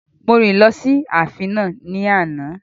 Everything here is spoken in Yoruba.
Mo rìn lọ sí ààfin náà ní àná